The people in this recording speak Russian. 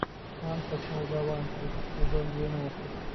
анка с молдаванки сезон двенадцать